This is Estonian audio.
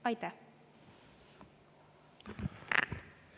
Aitäh!